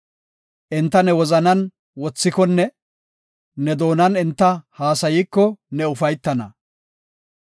Enta ne wozanan wothikonne ne doonan enta haasayiko, ne ufaytana.